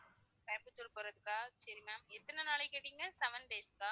கோயமுத்தூர் போறதுக்கா சரி ma'am எத்தனை நாளைக்கு கேட்டீங்க seven days க்கா